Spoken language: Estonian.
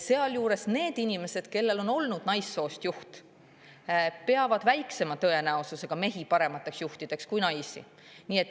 Sealjuures need inimesed, kellel on olnud naissoost juht, peavad väiksema tõenäosusega mehi paremateks juhtideks kui naisi.